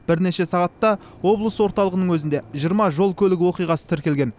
бірнеше сағатта облыс орталығының өзінде жиырма жол көлік оқиғасы тіркелген